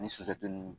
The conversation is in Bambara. Ni sufɛ ninnu